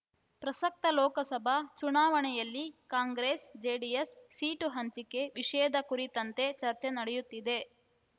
ಪ್ರಸಕ್ತ ಲೋಕಸಭಾ ಚುನಾವಣೆಯಲ್ಲಿ ಕಾಂಗ್ರೆಸ್ ಜೆಡಿಎಸ್ ಸೀಟು ಹಂಚಿಕೆ ವಿಷಯದ ಕುರಿತಂತೆ ಚರ್ಚೆ ನಡೆಯುತ್ತಿದೆ